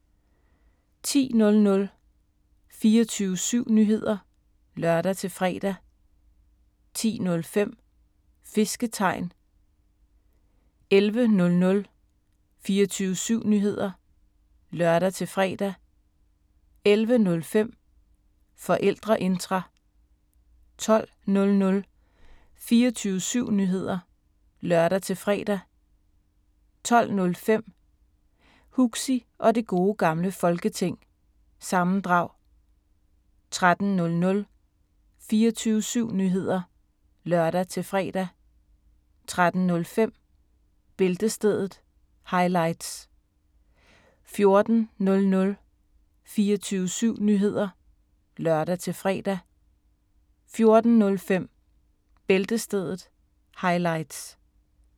10:00: 24syv Nyheder (lør-fre) 10:05: Fisketegn 11:00: 24syv Nyheder (lør-fre) 11:05: Forældreintra 12:00: 24syv Nyheder (lør-fre) 12:05: Huxi Og Det Gode Gamle Folketing- sammendrag 13:00: 24syv Nyheder (lør-fre) 13:05: Bæltestedet – highlights 14:00: 24syv Nyheder (lør-fre) 14:05: Bæltestedet – highlights